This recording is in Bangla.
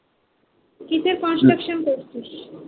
কিসের construction করছিস?